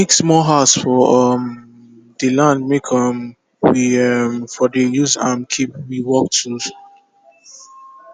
we make small house for um dey land make um we um for dey use am keep we work tools